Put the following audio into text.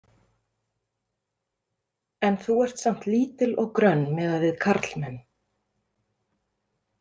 En þú ert samt lítil og grönn miðað við karlmenn.